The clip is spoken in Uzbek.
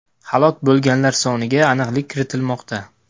Halok bo‘lganlar soniga aniqlik kiritilmoqda.